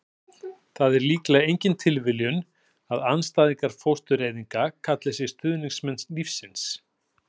það er líklega engin tilviljun að andstæðingar fóstureyðinga kalli sig stuðningsmenn lífsins